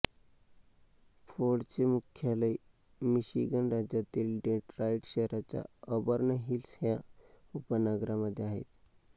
फोर्डचे मुख्यालय मिशिगन राज्यातील डेट्रॉईट शहराच्या ऑबर्न हिल्स ह्या उपनगरामध्ये आहे